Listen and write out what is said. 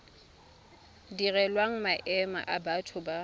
direlwang maemo a batho ba